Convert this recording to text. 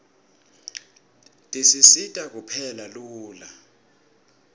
tisisita kupheka lula